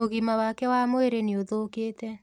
ũgima wake wa mwĩrĩ nĩũthũkĩte.